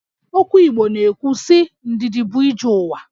Okwu Igbo na-ekwu sị 'Ndidi bụ ije ụwa'